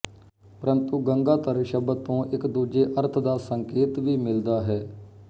ਪ੍ਰੰਤੂ ਗੰਗਾਧਰ ਸ਼ਬਦ ਤੋਂ ਇੱਕ ਦੂਜੇ ਅਰਥ ਦਾ ਸੰਕੇਤ ਵੀ ਮਿਲਦਾ ਹੈ